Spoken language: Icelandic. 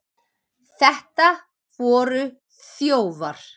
Þetta voru þjófar!